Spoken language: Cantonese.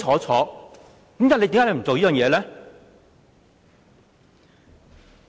為何你不肯這樣做呢？